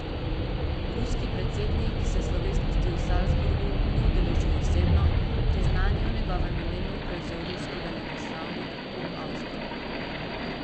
Ruski predsednik se slovesnosti v Salzburgu ni udeležil osebno, priznanje je v njegovem imenu prevzel ruski veleposlanik v Avstriji.